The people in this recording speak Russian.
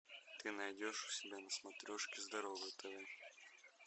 ты найдешь у себя на смотрешке здоровое тв